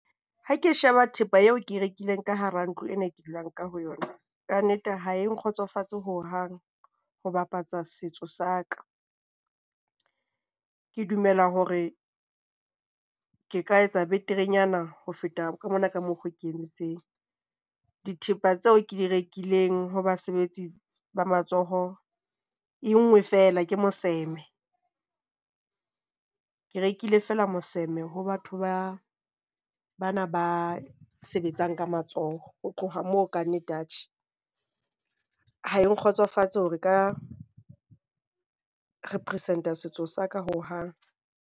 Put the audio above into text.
Ha ke sheba thepa eo ke e rekileng ka hara ntlo ena ke dulang ka ho yona. Kannete ha e nkgotsofatse ho hang ho bapatsa setso sa ka. Ke dumela hore ke ka etsa beterenyana ho feta ka mona ka mokgo ke entseng. Dithepa tseo ke di rekileng ho basebetsi ba matsoho. E nngwe feela ke moseme. Ke rekile feela moseme ho batho bana ba sebetsang ka matsoho. Ho tloha moo ka nnete, atjhe ha e nkgotsofatse hore nka represent-a setso sa ka ho hang.